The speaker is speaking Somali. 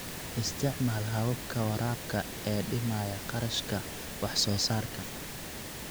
Isticmaal hababka waraabka ee dhimaya kharashka wax soo saarka.